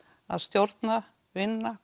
að stjórna vinna